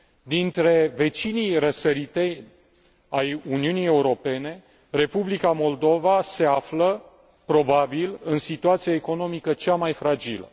Dintre vecinii răsăriteni ai Uniunii Europene, Republica Moldova se află, probabil, în situația economică cea mai fragilă.